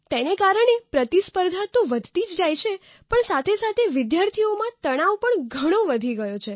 તેને કારણે પ્રતિસ્પર્ધા તો ઘણી વધી જ ગઈ છે સાથે જ વિદ્યાર્થીઓમાં તણાવ પણ ઘણો વધી ગયો છે